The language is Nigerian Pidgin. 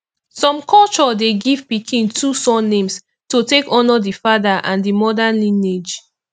some culture de give pikin two surnames to take honor the father and the mother lineage